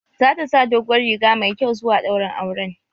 Zata sa doguwar riga mai kyau zuwa daurin auren